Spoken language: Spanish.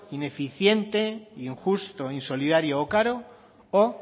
ineficiente injusto insolidario o caro o